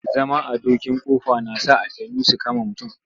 Zama a dokin ƙofa na sa aljannu su kama mutum.